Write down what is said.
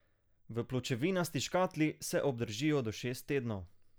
V pločevinasti škatli se obdržijo do šest tednov.